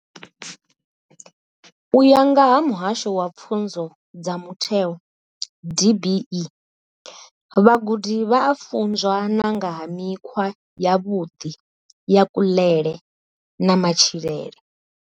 U ya nga vha muhasho wa pfunzo dza mutheo DBE, vhagudi vha a funzwa na nga ha mikhwa yavhuḓi ya kuḽele na matshilele.